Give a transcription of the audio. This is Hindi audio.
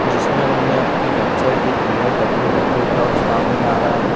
जिसमें उन्हें अपनी वेबसाइट भीं दी हैं डब्लू_डब्लू_डब्लू डॉट स्वामी नारायण--